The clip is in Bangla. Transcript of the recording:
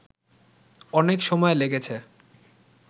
অনেক সময় লেগেছে